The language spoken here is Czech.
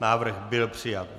Návrh byl přijat.